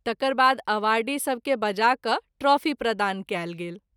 तकर बाद अवार्डी सभ के बजा कय ट्राफी प्रदान कयल गेल।